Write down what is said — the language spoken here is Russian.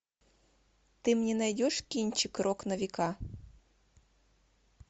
ты мне найдешь кинчик рок на века